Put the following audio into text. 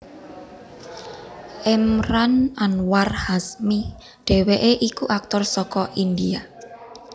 Emraan Anwar Hashmi dhèwèké iku aktor saka India